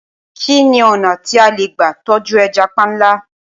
Kí ni ọ̀nà tí a lè gbà tọ́jú ẹja panla?